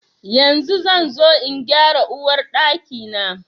Yanzu zan zo in gyara Uwar Ɗaki na.